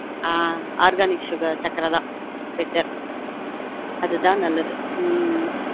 ஆஹ் ஆஹ் organic sugar சக்கரை தான் better அது தான் நல்லது